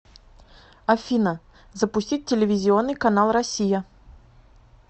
афина запустить телевизионный канал россия